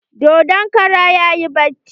Dodon karan yayi bacci.